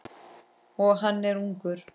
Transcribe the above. Og hann er ungur.